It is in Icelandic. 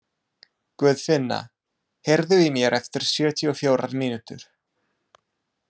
Guðfinna, heyrðu í mér eftir sjötíu og fjórar mínútur.